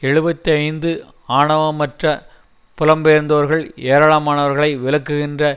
எழுபத்தி ஐந்து ஆவணமற்ற புலம்பெயர்ந்தோர்கள் ஏராளமானவர்களை விலக்குகின்ற